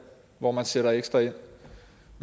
hvor man sætter ekstra ind